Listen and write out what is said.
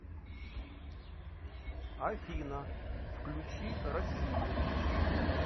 афина включи россию